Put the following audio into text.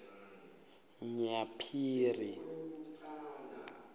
nyaphiri